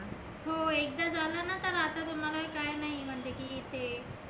हो एकदा झालं ना तर आता तुम्हाला ही काही नाहीए म्हणजे की ते.